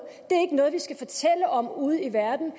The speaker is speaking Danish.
vi skal fortælle om ude i verden